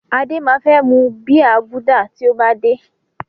Adé máa fẹ́ mu bíà Gúdà tí ó bá dé.